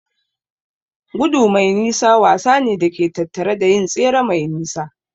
Gudu mai nisa wasa ne da ke tattare da yin tsere mai nisa.